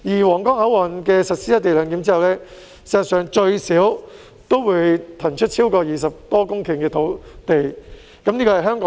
皇崗口岸實施"一地兩檢"後，在香港境內最少可騰出20多公頃土地。